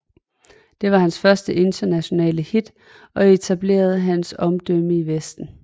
Det var hans første internationale hit og etablerede hans omdømme i Vesten